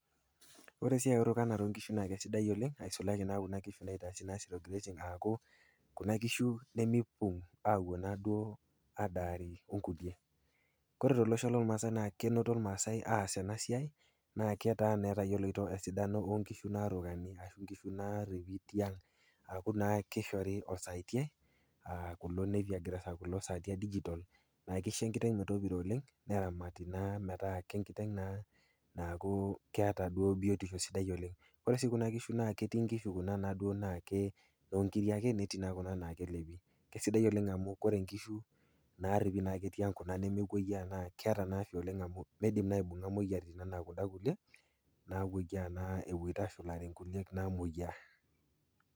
Ore erukanare o nkishu naa sidai oleng aku naa kuna kishu naitaasi zero grazing aku kuna kishu nemeipung auwuo naa duo aadari onkulie. Kore tolosho lolmaasai naa kenoto ilmaasai aas ena siai netaa naa etayioloto esidano o nkishu narukani ashu inkishu naaripi tiang aku naa keishori osaatiai akulo napier grass kulo saatia digital naa keisho enkiteng metopiro oleng neramati na metaa kenkiteng naa naata biotisho oleng. Ore sii kuna kishu naa ketii inkishu kuna naa duo naake noonkiri ake netii naa kuna naa kelepi kesidai oleng amu ore inkishu naa ake naripi tiang' kuna nemewuoyie naa keata naa afya oleng amu meidim naa aibung'a imoyiaritin anaa kunda kulie nawuoyia naa ewuoita ashulare inkulie namoyia.